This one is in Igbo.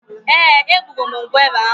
Eeh, egburum ngwere ahụ